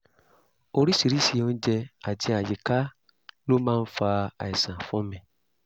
oríṣiríṣi oúnjẹ àti àyíká ló máa ń fa àìsàn fún mi